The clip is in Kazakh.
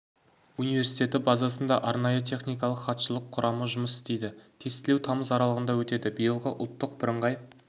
университеті базасында арнайы техникалық хатшылық құрамы жұмыс істейді тестілеу тамыз аралығында өтеді биылғы ұлттық біріңғай